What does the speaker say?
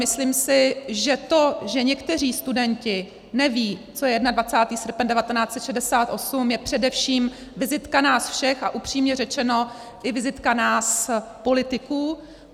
Myslím si, že to, že někteří studenti nevědí, co je 21. srpen 1968, je především vizitka nás všech, a upřímně řečeno, i vizitka nás politiků.